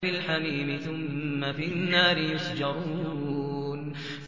فِي الْحَمِيمِ ثُمَّ فِي النَّارِ يُسْجَرُونَ